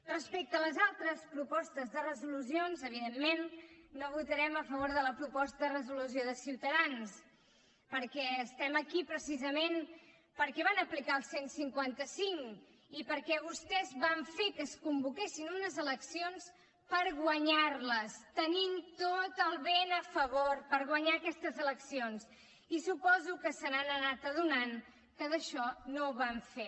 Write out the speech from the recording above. respecte a les altres propostes de resolució evidentment no votarem a favor de la proposta de resolució de ciutadans perquè estem aquí precisament perquè van aplicar el cent i cinquanta cinc i perquè vostès van fer que es convoquessin unes eleccions per guanyar les tenint tot el vent a favor per guanyar aquestes eleccions i suposo que s’han anat adonant que això no ho van fer